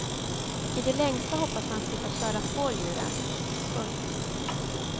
I det längsta hoppas man slippa köra på djuren. punkt